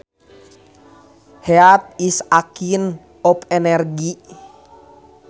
Heat is a kind of energy